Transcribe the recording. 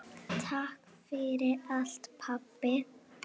Takk fyrir allt, pabbi.